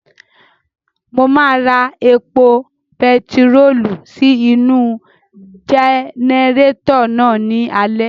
Mo máa ra epo bentiróòlù sí inú-u jẹnẹrétọ̀ náà ní alẹ́